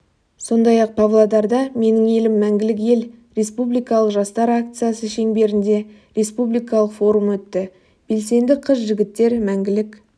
сондай-ақ павлодарда менің елім мәңгілік ел республикалық жастар акциясы шеңберінде республикалық форум өтті белсенді қыз-жігіттер мәңгілік